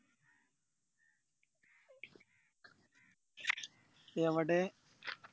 എവിടെ